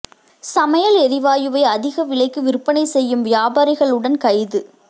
சமையல் எரிவாயுவை அதிக விலைக்கு விற்பனை செய்யும் வியாபாரிகள் உடன் கைது